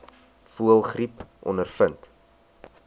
voëlgriep ondervind